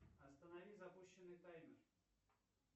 останови запущенный таймер